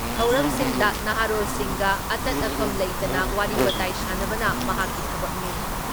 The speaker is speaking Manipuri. ꯊꯧꯔꯝꯁꯤꯡꯗ ꯅꯍꯥꯔꯣꯜꯁꯤꯡꯒ ꯑꯇꯠ ꯑꯈꯝ ꯂꯩꯇꯅ ꯋꯥꯔꯤ ꯋꯥꯇꯥꯏ ꯁꯥꯟꯅꯕꯅ ꯃꯍꯥꯛꯀꯤ ꯊꯕꯛꯅꯤ ꯫